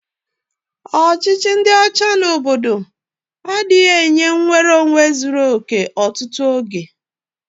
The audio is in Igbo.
Ọchịchị ndị ọcha n'obodo abụghị nke ha na-ekwe nnwereonwe kpọmkwem ụfọdụ oge.